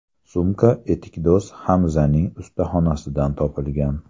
Sumka etikdo‘z Hamzaning ustaxonasidan topilgan.